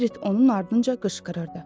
Berit onun ardınca qışqırırdı.